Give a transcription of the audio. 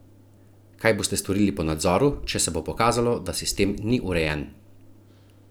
Kaj boste storili po nadzoru, če se bo pokazalo, da sistem ni urejen?